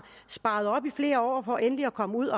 sparet op i flere år for endelig at komme ud